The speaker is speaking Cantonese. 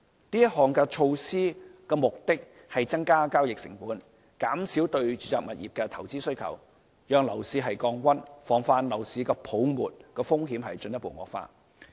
這項措施的目的為增加交易成本，減少對住宅物業的投資需求，讓樓市降溫，防範樓市泡沫風險進一步惡化。